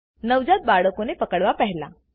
નવજાત બાળકો પકડવા પહેલાં